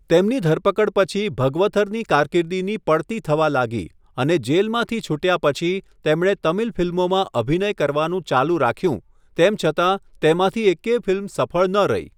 તેમની ધરપકડ પછી ભગવથરની કારકિર્દીની પડતી થવા લાગી અને જેલમાંથી છૂટ્યા પછી તેમણે તમિલ ફિલ્મોમાં અભિનય કરવાનું ચાલુ રાખ્યું, તેમ છતાં તેમાંથી એકેય ફિલ્મ સફળ ન રહી.